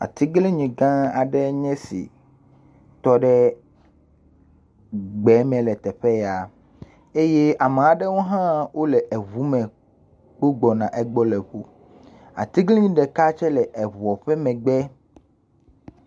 Atiglinyi gã aɖe ne esi tɔ ɖe gbe me le teƒe ya eye ame aɖewo hã wole eŋu me kpo gbɔna egbɔ le fi. Atiglinyi ɖeka tse le eŋua ƒe megbe.